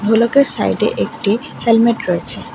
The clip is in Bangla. ঢোলকের সাইডে একটি হেলমেট রয়েছে।